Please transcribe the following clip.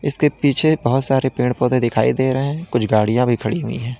उसके पीछे बहोत सारे पेड़ पौधे दिखाई दे रहे हैं कुछ गाड़ियां भी खड़ी हुई हैं।